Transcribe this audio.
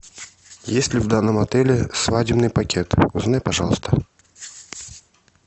есть ли в данном отеле свадебный пакет узнай пожалуйста